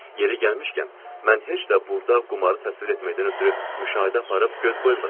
Yeri gəlmişkən, mən heç də burda qumarı təsvir etməkdən ötrü müşahidə aparıb göz qoymuram.